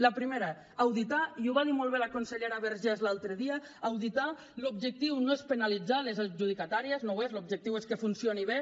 la primera auditar i ho va dir molt bé la consellera vergés l’altre dia l’objectiu no és penalitzar les adjudicatàries no ho és l’objectiu és que funcionin bé